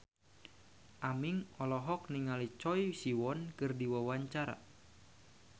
Aming olohok ningali Choi Siwon keur diwawancara